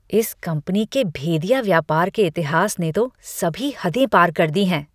इस कंपनी के भेदिया व्यापार के इतिहास ने तो सभी हदें पार कर दी हैं।